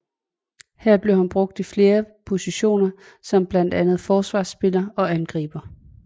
Her blev han brugt i flere positioner som blandt andet Forsvarsspiller og Angriber